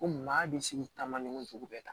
Ko maa bɛ se k'i ta maɲɔgɔn sugu bɛɛ ta